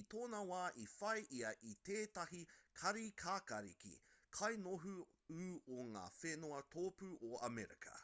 i tōna wā i whai ia i tētahi kāri kākāriki kainoho ū o ngā whenua tōpū o amerika